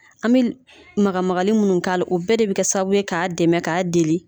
An be l magamagali munnu k'a la, o bɛɛ de be kɛ sababu ye k'a dɛmɛ k'a deli